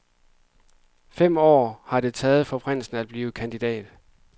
Fem år har det taget for prinsen at blive kandidat.